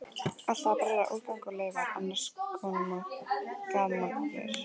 Alltaf að brenna úrgang og leifar, annars koma gammarnir!